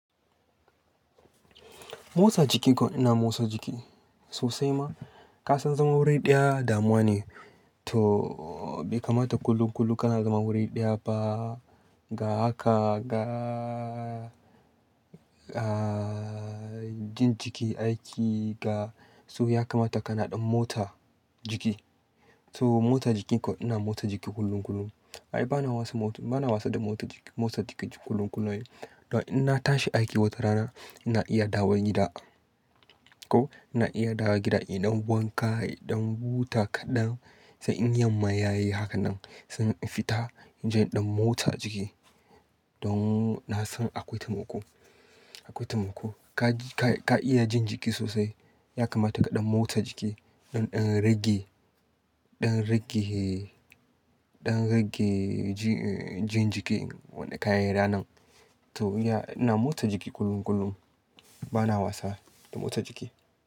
Motsa jiki ko ina motsa jiki sosai ma? Ka san zama wuri ɗaya damuwa ne, to bai kamata kullum-kullam ka na zama wuri ɗaya ba. Ga haka ga, ga jin jiki aiki ga, so ya kamata ka na ɗan motsa jiki. To motsa jiki ko ina motsa jiki kullum-kullum? Ai bana wasa motsa, bana wasa da motsa jiki kullum-kullum. Don in na tashi aiki wata rana ina iya dawowa gida. Ko ina iya dawowa gida in ɗan wanka, in ɗan huta kaɗan. Sai in yamma yayi haka nan sai in fita, in je in ɗan motsa jiki. Don na san akwai taimako, akwai taimako. Ka, ka iya jin jiki sosai. Ya kamata ka ɗan motsa jiki. Zan ɗin rage, ɗan rage, ɗan rage jin jiki wanda kayi ranar. To iya ina motsa jiki kullum-kullum bana wasa da motsa jiki.